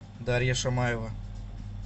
дарья шамаева